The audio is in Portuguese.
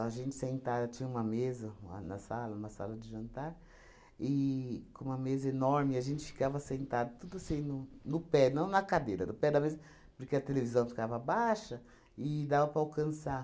A gente sentava, tinha uma mesa lá na sala, na sala de jantar, e com uma mesa enorme, a gente ficava sentado, tudo assim, no no pé, não na cadeira, no pé da mesa, porque a televisão ficava baixa e dava para alcançar.